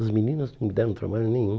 As meninas não deram trabalho nenhum.